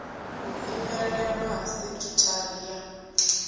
u imelelwa ha sekhithara ya